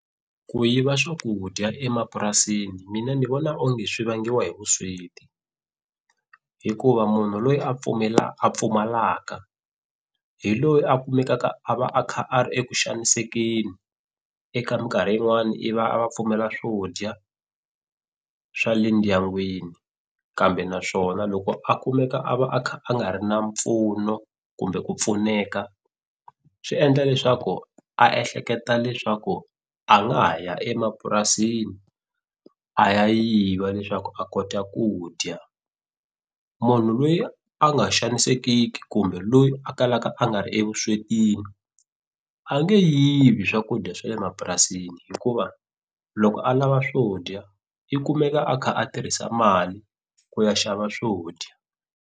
Ku yiva swakudya emapurasini mina ni vona onge swi vangiwa hi vusweti hikuva munhu loyi a pfumela a pfumalaka hi loyi a kumekaka a va a kha a ri eku xanisekeni eka minkarhi yin'wani i va a va pfumela swo dya swa le ndyangwini kambe naswona loko a kumeka a va a kha a nga ri na mpfuno kumbe ku pfuneka swi endla leswaku a ehleketa leswaku a nga ha ya emapurasini a ya yiva leswaku a kota ku dya munhu lweyi a nga xanisekiki kumbe loyi a kalaka a nga ri evuswetini a nge yivi swakudya swa le mapurasini hikuva loko a lava swo dya i kumeka a kha a tirhisa mali ku ya xava swo dya.